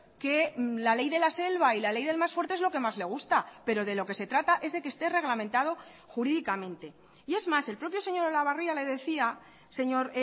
que la ley de la selva y la ley del más fuerte es lo que más le gusta pero de lo que se trata es de que esté reglamentado jurídicamente y es más el propio señor olabarria le decía señor